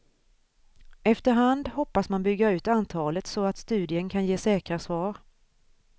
Efter hand hoppas man bygga ut antalet så att studien kan ge säkra svar.